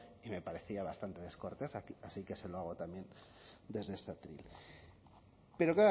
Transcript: y me parecía bastante descortés así que se lo hago también desde este atril pero